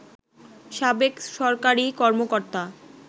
সাবেক সরকারি কর্মকর্তা